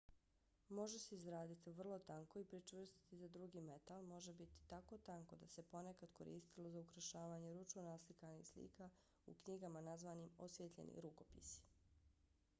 može se izraditi vrlo tanko i pričvrstiti za drugi metal. može biti tako tanko da se ponekad koristilo za ukrašavanje ručno naslikanih slika u knjigama nazvanim osvijetljeni rukopisi